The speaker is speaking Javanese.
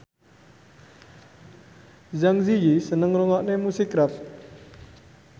Zang Zi Yi seneng ngrungokne musik rap